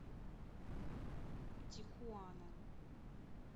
тихуана